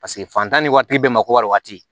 Paseke fantan ni waati bɛɛ makowari waati